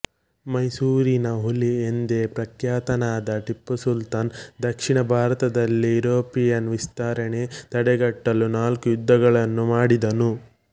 ಮೈಸೂರಿನ ಹುಲಿ ಎಂದೇ ಪ್ರಖ್ಯಾತನಾದ ಟೀಪು ಸುಲ್ತಾನ್ ದಕ್ಷಿಣ ಭಾರತದಲ್ಲಿ ಯುರೋಪಿಯನ್ ವಿಸ್ತರಣೆ ತಡೆಗಟ್ಟಲು ನಾಲ್ಕು ಯುದ್ದಗಳನ್ನು ಮಾಡಿದನು